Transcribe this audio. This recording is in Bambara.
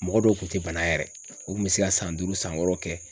Mɔgɔ dɔw kun te bana yɛrɛ. U kun be se ka san duuru san wɔɔrɔ kɛ.